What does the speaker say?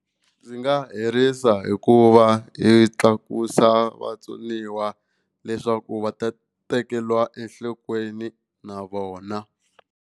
Ndzi nga herisa hikuva hi tlakusa vatsoniwa leswaku va ta tekeriwa enhlokweni na vona.